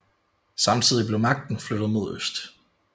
Samtidig blev magten flyttet mod øst